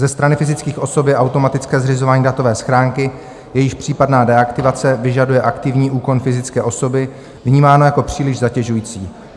Ze strany fyzických osob je automatické zřizování datové schránky, jejíž případná deaktivace vyžaduje aktivní úkon fyzické osoby, vnímáno jako příliš zatěžující.